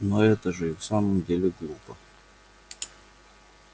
но это же и в самом деле глупо